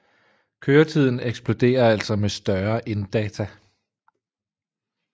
Køretiden eksploderer altså med større inddata